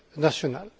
national.